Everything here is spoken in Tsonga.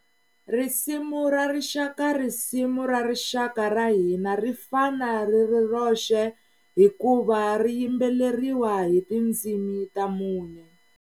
Risimu ra Rixaka Risimu ra Rixaka ra hina ri fana ri ri roxe hikuva ri yimbeleriwa hi tindzimi ta mune.